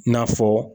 I n'a fɔ